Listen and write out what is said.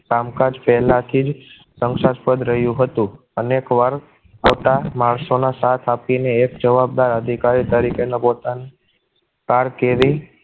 કામકાજ પહેલાથી જ શંકાશ્પદ જ રહ્યું હતું અનેકવાર ખોટા માણસોના સાથ આપીને એક જવાબદાર અધિકારી તરીકે ની પોતાની કારકિર્દી